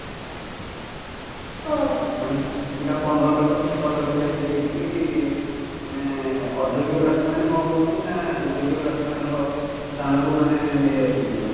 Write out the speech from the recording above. ମାନେ ପିଲା ପନ୍ଦର ଲକ୍ଷ୍ୟ ସତର ଲକ୍ଷ୍ୟ ଲେଖା ଦେଇକି ବି ମାନେ ଅଯୋଗ୍ୟ ପ୍ରାର୍ଥୀ ମାନେ କଣ କରୁଛନ୍ତି ନା ଯୋଗ୍ୟ ପ୍ରାର୍ଥୀ ମାନଙ୍କ ସ୍ଥାନକୁ ମାନେ ନେଇ ଯାଉଛନ୍ତି ପୁରା